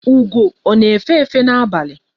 Ugo ọ na efe efe na-abalị?